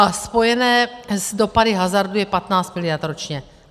A spojené s dopady hazardu je 15 mld. ročně.